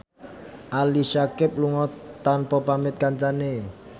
Ali Syakieb lunga tanpa pamit kancane